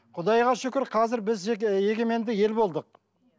құдайға шүкір қазір біз жеке егеменді ел болдық